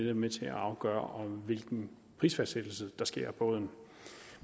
er med til at afgøre hvilken prisfastsættelse der sker af båden